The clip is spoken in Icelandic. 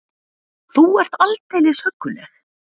Þú ert aldeilis hugguleg!